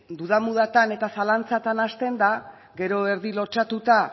duda mudatan eta zalantzatan hasten da gero erdi lotsatuta